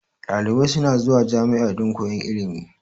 Dalibai suna zuwa jami'a dan koyan ilimi